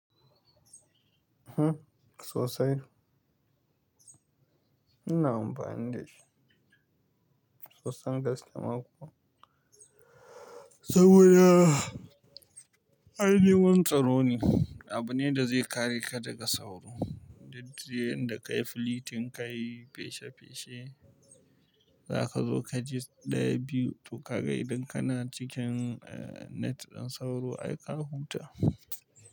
Hm sosai. Ina amfani dashi, sosai gaske ma kuwa. Saboda ai neman tsaro ne, abu ne da zai kare ka daga sauro. Daddare in da ka yi flitin ka yi feshe feshe, za ka zo ka ji ɗayan biyu, to ka ga idan kana cikin net din sauro ai ka huta.